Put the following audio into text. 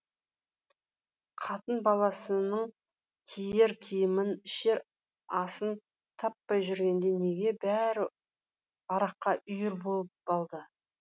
қатын баласының киер киімін ішер асын таппай жүргенде неге бәрі араққа үйір болып алды